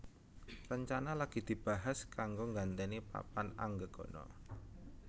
Rencana lagi dibahas kanggo gantèni papan anggegana